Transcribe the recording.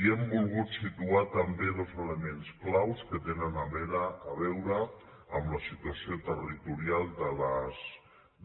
i hem volgut situar també dos elements claus que tenen a veure amb la situació territorial